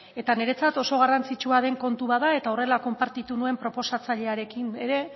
eta niretzat oso garrantzitsua den kontu bat da eta horrela konpartitu nuen proposatzailearekin ere